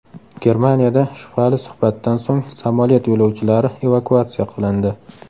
Germaniyada shubhali suhbatdan so‘ng samolyot yo‘lovchilari evakuatsiya qilindi.